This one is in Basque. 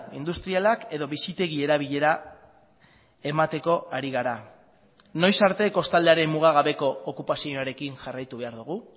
industrialak edo bizitegi erabilera emateko ari gara noiz arte kostaldearen mugagabeko okupazioarekin jarraitu behar dugu